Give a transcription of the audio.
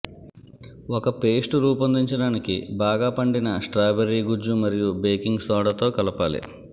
ఒక పేస్ట్ రూపొందించడానికి బాగా పండిన స్ట్రాబెర్రీ గుజ్జు మరియు బేకింగ్ సోడా తో కలపాలి